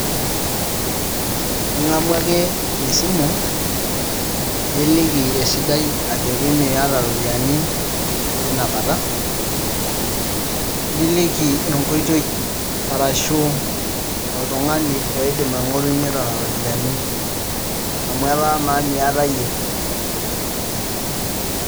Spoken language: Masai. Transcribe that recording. Ingamu ake esimu niliki esidai ajo miata iropiani tina kata, niliki enkoitoi ashu, oltungani oidim aingorunyie nena ropiani, amu eta na miata yie,